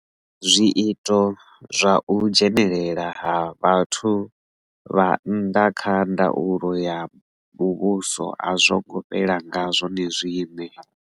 Zwiito zwa u dzhenelela ha vhathu vha nnḓa kha ndaulo ya muvhuso a zwongo fhela nga zwone zwiṋe.